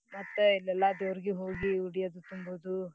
ಮತ್ತ ಇಲ್ ಎಲ್ಲಾ ದೇವರ್ಗ ಹೋಗಿ ಉಡಿ ಅದು ತುಂಬೋದು